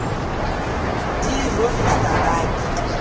di e rorisa a ke